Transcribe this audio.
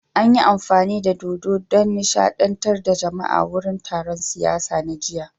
An yi amfani da dodo don nishadantar da jama'a a wurin taron siyasa na jiya